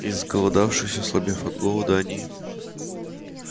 изголодавшись ослабев от голода они